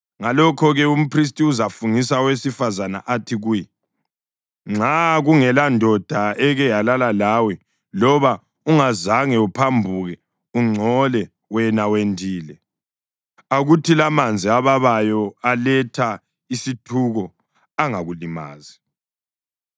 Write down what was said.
Ngalokho-ke umphristi uzafungisa owesifazane athi kuye, “Nxa kungelandoda eke yalala lawe loba ungazange uphambuke ungcole wena wendile, akuthi lamanzi ababayo aletha isithuko angakulimazi.